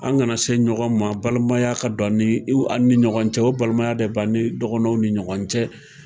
An kana se ɲɔgɔn ma balimaya ka dɔn an ni ɲɔgɔn cɛ o balimaya de b'ani dɔgɔnɔw ni ɲɔgɔn cɛ.